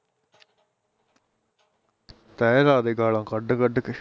ਤਹਿ ਲਾਦੇ ਗਾਲਾ ਕੱਢ ਕੱਢ ਕੇ